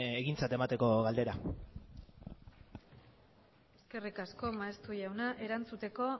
egintzat emateko galdera eskerrik asko maeztu jauna erantzuteko